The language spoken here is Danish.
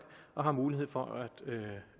og har mulighed for